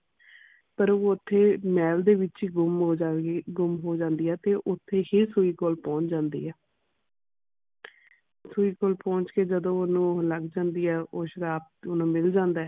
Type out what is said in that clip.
ਪਰ ਉਹ ਓਥੇ ਮਹਿਲ ਦੇ ਵਿਚ ਹੀ ਗੰਮ ਹੋ ਜਾਣਗੀ ਗੰਮ ਹੋ ਜਾਂਦੀ ਆ ਤੇ ਓਥੇ ਹੀ ਸੂਈ ਕੋਲ ਪਹੁੰਚ ਜਾਂਦੀ ਆ ਸੁਈਪੁਰ ਪਹੁੰਚ ਕੇ ਜਦ ਓਹਨੂੰ ਉਹ ਲੱਗ ਜਾਂਦੀ ਆ ਸ਼ਰਾਪ ਤੇ ਓਹਨੂੰ ਮਿਲ ਜਾਂਦਾ ਹੈ